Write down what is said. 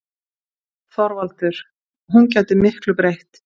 ÞORVALDUR: Hún gæti miklu breytt.